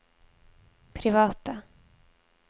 private